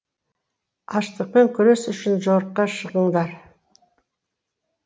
аштықпен күрес үшін жорыққа шығыңдар